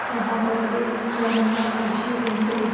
यहां पर एक जनमाश बिछी हुई है।